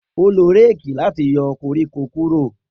O lo réèkì lati yọ koriko kuro.